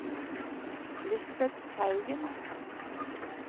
Lisbeth Teigen